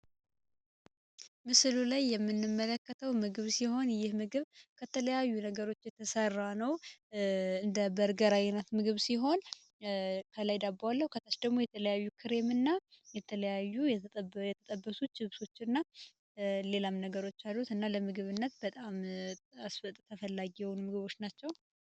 ምስሉ ላይ የምንመለከተው ምግብ ሲሆን ይህ ምግብ ከተለያዩ አይነት ነገሮች የተሰራ ነው። እንደ በርገር ያለ ሲሆን ከላይ ዳቦ ከታሽ ደግሞ የተለያዩ ክሬሞችና የተለያዩ የተጠበሱ ችብሶች አሉት ሌላም ነገሮች አሉ፤ ለምግብነት በጣም ተፈላጊ የሆኑ ምግቦች ናቸው።